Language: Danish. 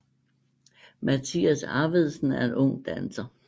Mathias Arvedsen er en ung danser